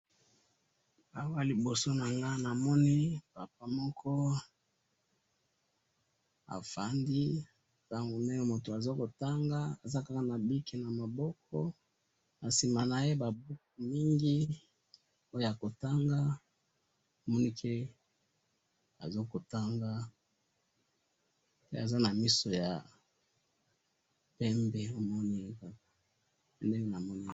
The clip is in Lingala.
awa nliboso nanga nmonipapa moko afandi azo tanga aza na bic na maboko nasima naye koza ba buku azo kotanga pe aza na misu ya pemve nde nazali komona awa